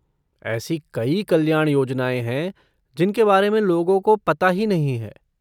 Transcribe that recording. AC कई कल्याण योजनाएँ हैं जिनके बारे में लोगों को पता ही नहीं है।